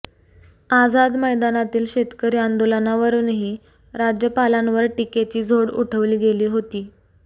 आझाद मैदानातील शेतकरी आंदोलनावरूनही राज्यपालांवर टीकेची झोड उठवली गेली होती